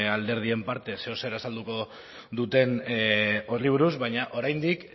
alderdien partez zer edo zer azalduko duten horri buruz baina oraindik